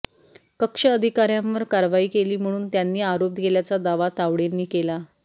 कक्ष अधिकाऱ्यांवर कारवाई केली म्हणून त्यांनी आरोप केल्याचा दावा तावडेंनी केला